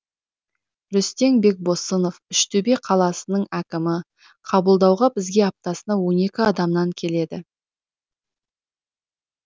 рүстем бекбосынов үштөбе қаласының әкімі қабылдауға бізге аптасына он екі адамнан келеді